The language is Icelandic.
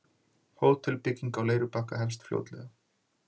Hótelbygging á Leirubakka hefst fljótlega